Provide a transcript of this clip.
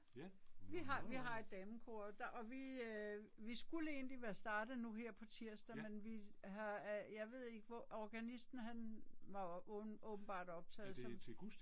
Vi har vi har et damekor og vi vi skulle egentlig være startet nu her på tirsdag men vi har er jeg ved ikke organisten han var åbenbart optaget